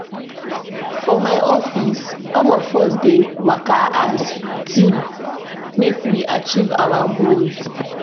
For my office, all of us dey work as team make we achieve our goals.